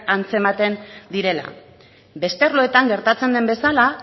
antzematen direla beste arloetan gertatzen den bezala